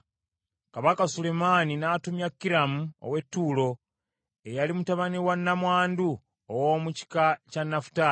Kabaka Sulemaani n’atumya Kiramu ow’e Ttuulo, eyali mutabani wa nnamwandu ow’omu kika kya Nafutaali.